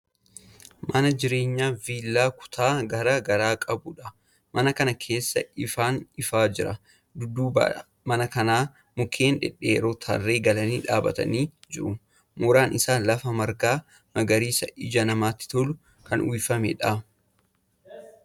Mana jireenyaa viillaa kutaa garaa garaa qabudha. Mana kana keessaa ifaan ifaa jira. Dudduuba mana kanaa mukkeen dhedheeroon tarree galanii dhaabbatanii jiru. Mooraan isaa lafa margaa magariisa ija namaatti toluun kan uwwifameedha.